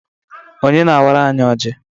Onye na awara anyi ọji?